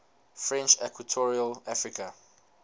french equatorial africa